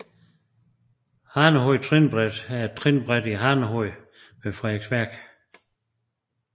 Hanehoved Trinbræt er et trinbræt i Hanehoved ved Frederiksværk